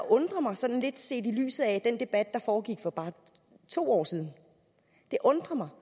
undrer mig sådan lidt set i lyset af den debat der foregik for bare to år siden det undrer mig